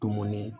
Dumuni